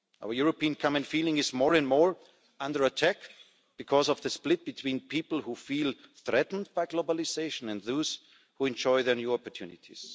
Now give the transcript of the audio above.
Our European common feeling is more and more under attack because of the split between people who feel threatened by globalisation and those who enjoy the new opportunities.